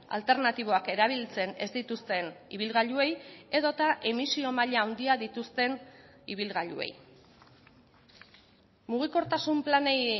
alternatiboak erabiltzen ez dituzten ibilgailuei edota emisio maila handia dituzten ibilgailuei mugikortasun planei